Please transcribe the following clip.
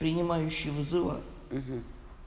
принимающий вызова